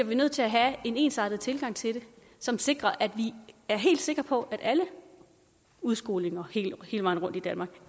vi nødt til at have en ensartet tilgang til det som sikrer at vi er helt sikre på at alle udskolinger hele vejen rundt i danmark